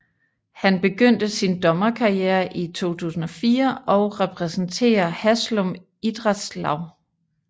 Han begynste sin dommerkarriere i 2004 og repræsenterer Haslum Idrettslag